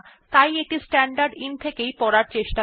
তাই এটি স্ট্যান্ডারদিন থেকে ইনপুট নিতে চেষ্টা করে